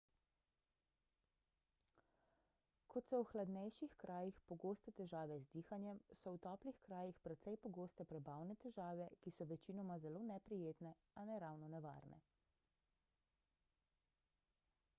kot so v hladnejših krajih pogoste težave z dihanjem so v toplih krajih precej pogoste prebavne težave ki so večinoma zelo neprijetne a ne ravno nevarne